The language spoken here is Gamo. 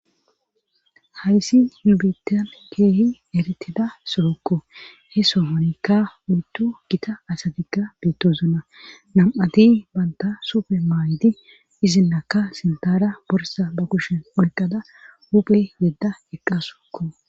hayssi hubitan keehi eritida sorokko he sohonekka uyttu gita asatikka beettozuna nam7ati banta supe maaydi izinlakka sintara borsa ba kushen oyqada huphe yedda eqqasukko